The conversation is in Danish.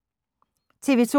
TV 2